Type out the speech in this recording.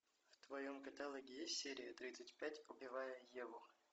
в твоем каталоге есть серия тридцать пять убивая еву